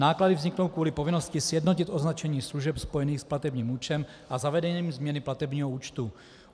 Náklady vzniknou kvůli povinnosti sjednotit označení služeb spojených s platebním účtem a zavedením změny platebního účtu.